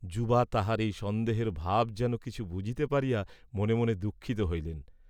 যুবা তাহার এই সন্দেহের ভাব যেন কিছু বুঝিতে পারিয়া মনে মনে দুঃখিত হইলেন।